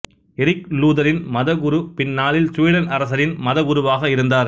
Eric Lutheran மத குரு பின்னாளில் சுவீடன் அரசரின் மதகுருவாக இருந்தார்